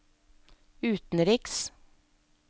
utenriks